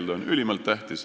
See on ülimalt tähtis.